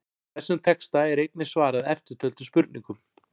Með þessum texta er einnig svarað eftirtöldum spurningum: